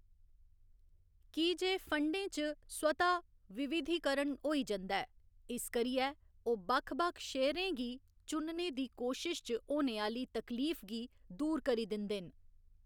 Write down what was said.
की जे फंडें च स्वतः विविधीकरण होई जंदा ऐ, इस करियै ओह्‌‌ बक्ख बक्ख शेयरें गी चुनने दी कोशश च होने आह्‌ली तकलीफ गी दूर करी दिंदे न।